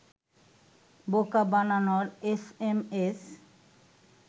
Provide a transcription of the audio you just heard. বোকা বানানোর এসএমএস